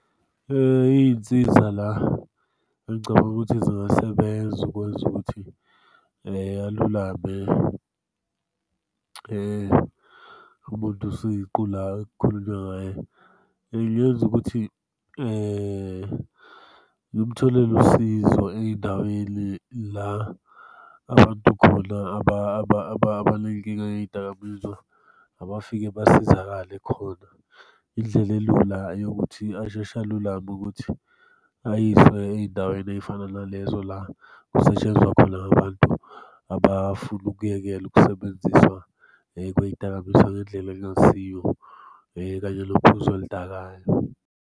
Iy'nsiza la engicabanga ukuthi zingasebenza ukwenza ukuthi alulame umuntu siqu la ekukhulunywa ngaye, engenza ukuthi ngimtholele usizo ey'ndaweni la abantu khona abanenkinga ye'ydakamizwa abafike basizakale khona. Indlela elula eyokuthi asheshe alulame ukuthi ayiswe ey'ndaweni ey'fana nalezo la kusetshenzwa khona ngabantu abafuna ukuyekela Ukusebenzisa kwey'dakamizwa ngendlela ekungasiyo kanye nophuzo oludakwayo.